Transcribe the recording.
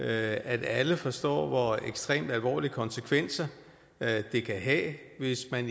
at alle forstår hvor ekstremt alvorlige konsekvenser det kan have hvis man